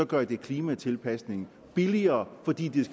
gør det klimatilpasningen billigere fordi det